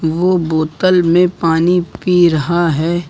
वो बोतल में पानी पी रहा है।